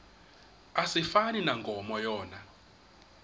asifani nankomo yona